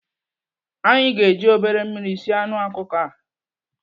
Anyị ga-eji obere mmiri sie anụ ọkụkọ a.